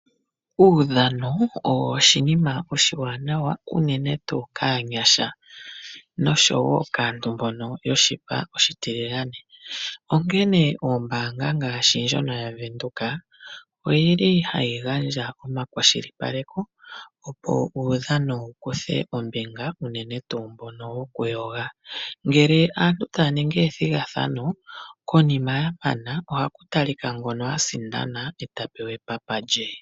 Uudhano owo oshinima oshiwanawa unene tuu kaanyasha noshowo kaantu mbono yoshipa oshitiligane, onkene oombaanga ngaashi ndjono yaVenduka odhi li hayi gandja omakwashilipaleko, opo uudhano wu kuthe ombinga unene tuu mbono wokuyoga. Ngele aantu taya ningi ethigathano, konima ya mana ohaku talika kono sindana e ta pewa epapa lye.